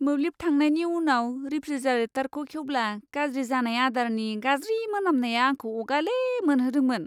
मोब्लिब थांनायनि उनाव रेफ्रिजारेटरखौ खेवब्ला गाज्रि जानाय आदारनि गाज्रि मोनामनाया आंखौ अगाले मोनहोदोंमोन।